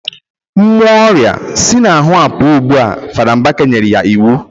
Mmuo oria si na ahu a puuo ugbua, Fada Mbaka nyera ya iwu